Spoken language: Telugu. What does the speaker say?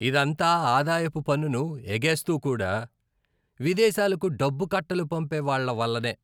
ఇదంతా ఆదాయపు పన్నును ఎగేస్తూ కూడా, విదేశాలకు డబ్బు కట్టలు పంపే వాళ్ళ వల్లనే.